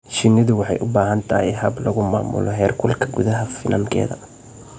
Shinnidu waxay u baahan tahay hab lagu maamulo heerkulka gudaha finankeeda.